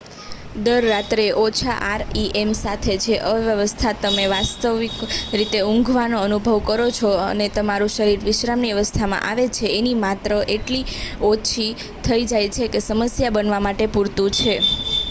દર રાત્રે ઓછા આરઈએમ સાથે જે અવસ્થામાં તમે વાસ્તવિક રીતે ઊંઘવાનો અનુભવ કરો છો અને તમારું શરીર વિશ્રામની અવસ્થામાં આવે છે એની માત્રા એટલી ઓછી થઇ જાય છે કે જે સમસ્યા બનવા માટે પૂરતું છે